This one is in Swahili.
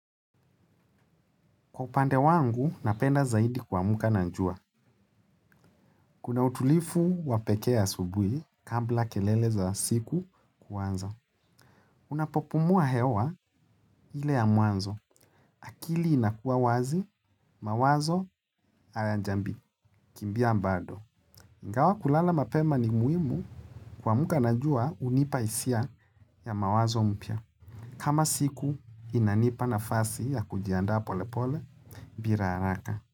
Kwa upande wangu, napenda zaidi kua muka na njua. Kuna utulifu wapekee asubui kabla keleleza siku kuanza. Unapopumua hewa hile ya mwanzo. Akili inakuwa wazi, mawazo alajambi. Kimbia mbado. Ingawa kulala mapema ni muimu kua muka na njua unipaisia ya mawazo mpya. Kama siku inanipa na fasi ya kujianda polepole biraaraka.